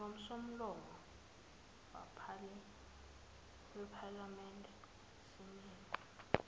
ngosomlomo wephalamende simeme